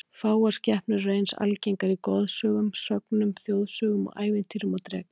Fáar skepnur eru eins algengar í goðsögum, sögnum, þjóðsögum og ævintýrum og drekar.